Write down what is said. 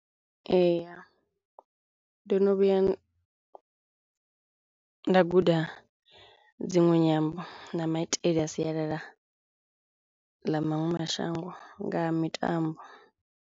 Ee ndo no vhuya nda guda dziṅwe nyambo na maitele a sialala ḽa maṅwe mashango nga ha mitambo.